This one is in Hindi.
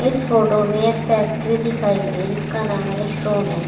इस फोटो में एक फैक्ट्री दिखाई गई जिसका नाम वाले अल्स्टॉम है।